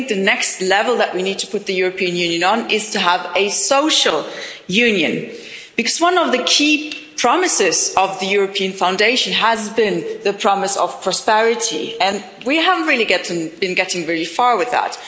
I think the next level that we need to put the European Union on is to have a social union, because one of the key promises of the European Foundation has been the promise of prosperity, and we haven't really been getting very far with that.